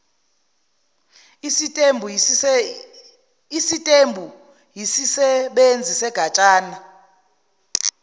isitembu yisisebenzi segatsha